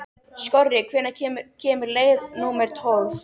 Skorri, hvenær kemur leið númer tólf?